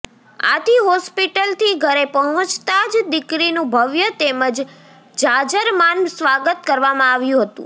આથી હોસ્પિટલથી ઘરે પહોંચતા જ દીકરીનું ભવ્ય તેમજ જાજરમાન સ્વાગત કરવામાં આવ્યું હતું